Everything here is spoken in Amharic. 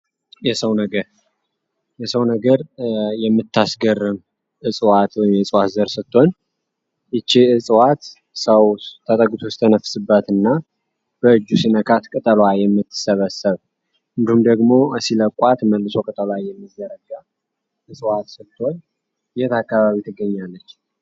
የሰው ነገር የሰው ነገር የምታስገርም እጽዋት የጽዋት ዘር ስቶሆን ይቼ እጽዋት ሰው ተጠግትው ስተነፍስበት እና በእጁ ሲነካት ቅጠሏይ የሚትሰበሰብ እንዲሁም ደግሞ ሲለቋት መልሶ ቅጠሏ የሚዘረጋያ እጽዋዕት ስትሆን የት አካባቢ ትገኛለች።